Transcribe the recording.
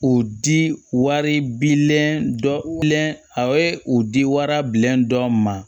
U di wari bilennen dɔ wili a ye u di warabilen dɔ ma